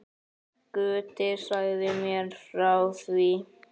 Gutti sagði mér frá því.